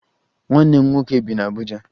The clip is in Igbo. Nwanne m nwoke bi n'Abuja